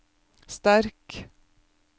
sterk